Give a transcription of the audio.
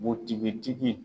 Butigitigi